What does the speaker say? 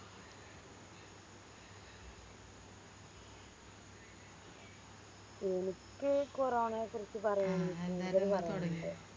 എനിക്ക് കോറോണേനെ കുറിച്ച് പറയാന് കൂടുതല് പറയാനിണ്ട്